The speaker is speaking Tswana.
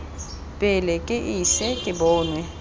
pele ke ise ke bonwe